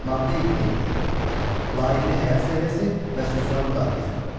Maddə 27: Layiqli həyat səviyyəsi və sosial müdafiə.